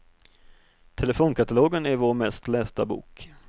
Telefonkatalogen är vår mest lästa bok.